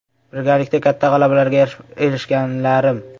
Birgalikda katta g‘alabalarga erishganlarim.